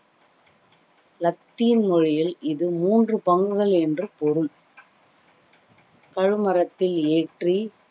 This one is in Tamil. லத்தின் மொழியில் இது மூன்று பங்குகள் என்று பொருள் கழுமரத்தில் ஏற்றி